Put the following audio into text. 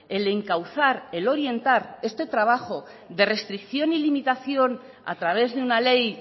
el encauzar el orientar este trabajo de restricción y limitación a través de una ley